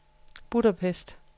Budapest